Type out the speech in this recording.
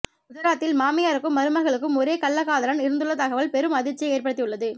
குஜராத்தில் மாமியாருக்கும் மருமகளுக்கும் ஒரே கள்ளக்காதலன் இருந்துள்ள தகவல் பெரும் அதிர்ச்சியை ஏற்படுத்தியுள்ளது